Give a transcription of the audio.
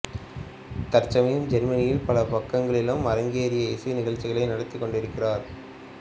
தற்சமயம் ஜேர்மனியின் பல பாகங்களிலும் அரங்கேறி இசை நிகழ்ச்சிகளை நடாத்திக் கொண்டிருக்கிறார்